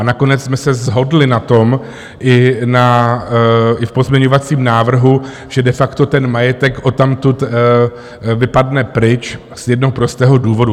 A nakonec jsme se shodli na tom i v pozměňovacím návrhu, že de facto ten majetek odtamtud vypadne pryč z jednoho prostého důvodu.